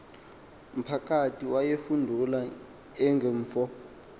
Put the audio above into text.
mphakathi wayefudula engumfo